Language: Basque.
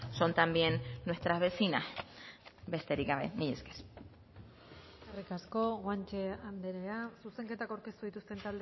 son también nuestras vecinas besterik gabe mila esker eskerrik asko guanche andrea zuzenketak aurkeztu dituzten